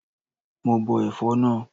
Mo bọ ẹ̀fọ́ náà.